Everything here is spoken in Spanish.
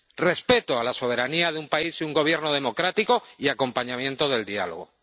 ¡Respeto a la soberanía de un país y un gobierno democrático, y acompañamiento del diálogo!